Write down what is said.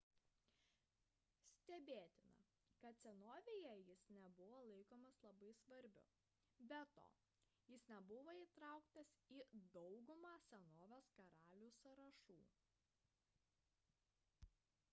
stebėtina kad senovėje jis nebuvo laikomas labai svarbiu be to jis nebuvo įtrauktas į daugumą senovės karalių sąrašų